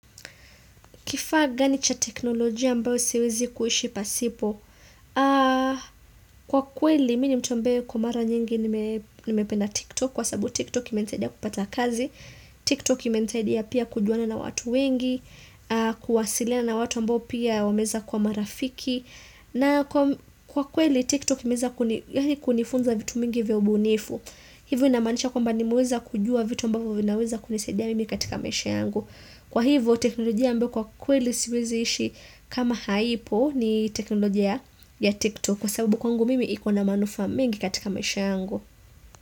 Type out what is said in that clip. Kifaa gani cha teknolojia ambayo siwezi kuhishi pasipo? Kwa ukweli, mimi nimtuambeo kwa mara nyingi nimependa TikTok. Kwa sababu TikTok imenisaidia kupata kazi. TikTok imenisaidia pia kujuana na watu wengi. Kuwasilia na watu mbao pia wameza kwa marafiki. Na kwa ukweli, TikTok imeza kunifunza vitu mingi vya ubunifu. Hivyo inamanisha kwa mbao nimeweza kujua vitu mbao vinaweza kunisaidia mimi katika maisha yangu. Kwa hivo, teknolojia ambaye kwa ukweli siweziishi kama haipo ni teknolojia ya TikTok kwa sababu kwangu mimi ikona manufaa mingi katika maisha yangu.